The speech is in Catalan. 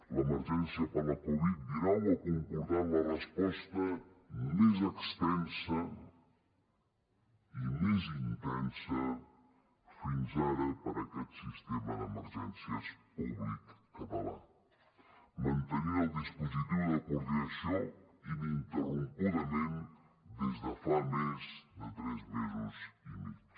l’emergència per la covid dinou ha comportat la resposta més extensa i més intensa fins ara per aquest sistema d’emergències públic català mantenir el dispositiu de coordinació ininterrompudament des de fa més de tres mesos i mig